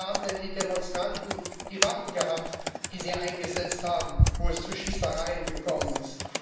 Woher haben denn die Demonstranten die Waffen gehabt, die sie eingesetzt haben, wo es zu Schießereien gekommen ist?